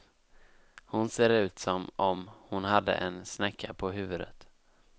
Hon ser ut som om hon hade en snäcka på huvudet.